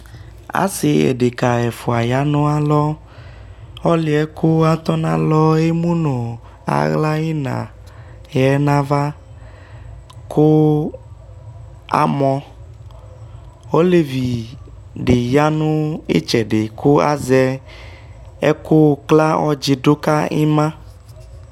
ase deka ɛfua ya no alɔ ɔlo yɛ ko atɔ no alɔ emu no ala ina yɛ no ava ko a mɔ olevi di ya no itsɛdi ko azɛ ɛko kla ɔdzi do ka ima